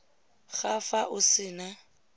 ga fa o se na